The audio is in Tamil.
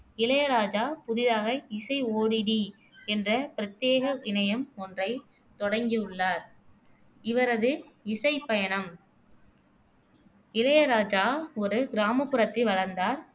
இளையராஜா புதிதாக இசை ஓடிடி என்ற பிரத்தியேக இணையம் ஒன்றைத் தொடங்கியுள்ளார் இவரது இசைப்பயணம் இளையராஜா ஒரு கிராமப்புறத்தில் வளர்ந்தார்